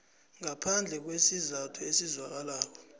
ngaphandle kwesizathu esizwakalako